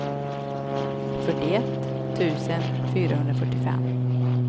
fyrtioett tusen fyrahundrafyrtiofem